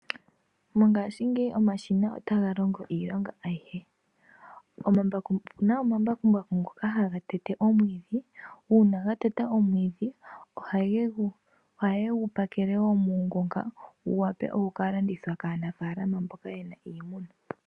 Mongaashingeyi omashina otaga longo iilonga ayihe. Opuna omambakumbaku ngoka haga tete omwiidhi. Uuna ga teta omwiidhi ohaye gu pakele muungonga wu wape oku kalandithwa kaanafaalama mboka yena iimuna.